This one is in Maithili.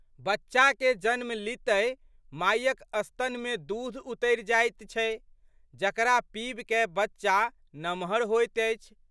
बच्चाके जन्म लीतहि मायक स्तनमे दूध उतरि जाइत छै जकरा पीबिकए बच्चा नमहर होइत अछि।